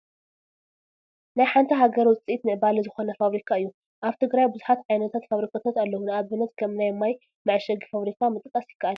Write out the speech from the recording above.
ናይ ሓንቲ ሃገር ውፅኢት ምዕባለ ዝኾነ ፋብሪካ እዩ፡፡ ኣብ ትግራይ ብዙሓት ዓይነታት ፋብሪካታት ኣለው፡፡ ንኣብነት ከም ናይ ማይ መዐሸጊ ፋብሪካ ምጥቃስ ይካኣል፡፡